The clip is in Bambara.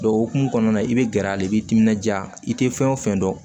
o hokumu kɔnɔna na i bɛ gɛrɛ a la i bi timinanja i tɛ fɛn o fɛn dɔn